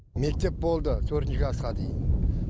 мектеп болды төртінші классқа дейін